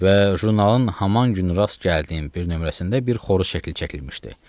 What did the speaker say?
Və jurnalın haman gün rast gəldiyim bir nömrəsində bir xoruzun şəkli çəkilmişdi.